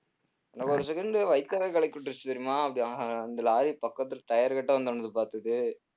ஒரு second உ வயித்தெல்லாம் கலக்கி விட்டுருச்சு தெரியுமா அப்படி அஹ் அந்த lorry பக்கத்துல tire கிட்ட வந்தவுடனே பார்த்தது